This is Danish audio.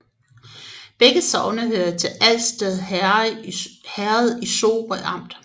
Begge sogne hørte til Alsted Herred i Sorø Amt